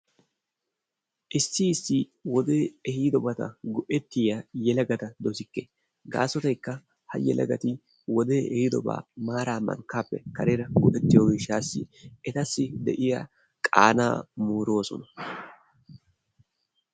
Issi issi wodee ehidobatta go'ettiyaa yelaggatta dosikke gaasottaykka ha yelaggatti wodee ehidobba maara mankkappe karera go'ettiyo gishshasi ettasi qaana moorossona.